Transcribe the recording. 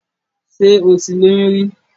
Ṣé o ti lóyún rí?